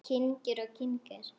Kyngir og kyngir.